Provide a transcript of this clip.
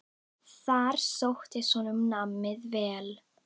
Þar sóttist honum námið vel.